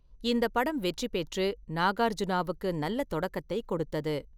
இந்தப் படம் வெற்றி பெற்று நாகார்ஜுனாவுக்கு நல்ல தொடக்கத்தைக் கொடுத்தது.